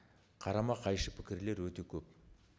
қарама қайшы пікірлер өте көп